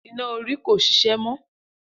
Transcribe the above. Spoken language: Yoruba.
Iná orí ko ṣiṣẹ́ mọ́.